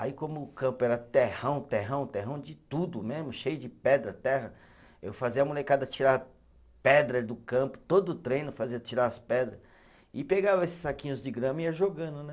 Aí como o campo era terrão, terrão, terrão de tudo mesmo, cheio de pedra, terra, eu fazia a molecada tirar pedra do campo, todo treino fazia tirar as pedra e pegava esses saquinhos de grama e ia jogando, né?